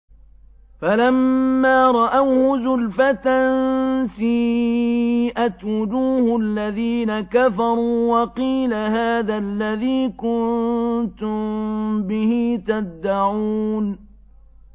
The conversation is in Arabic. فَلَمَّا رَأَوْهُ زُلْفَةً سِيئَتْ وُجُوهُ الَّذِينَ كَفَرُوا وَقِيلَ هَٰذَا الَّذِي كُنتُم بِهِ تَدَّعُونَ